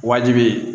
Wajibi